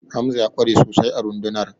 Hamza ya ƙware sosai a rundunar